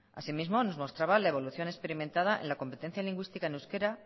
asimismo nos mostraba la evolución experimentada en la competencia lingüística en euskera